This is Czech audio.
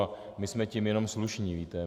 A my jsme tím jenom slušní, víte.